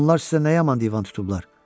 Onlar sizə nə yaman divan tutublar?